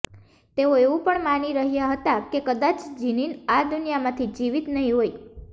તેઓ એવું પણ માની રહ્યા હતા કે કદાચ જીનિન આ દુનિયામાં જીવિત નહીં હોય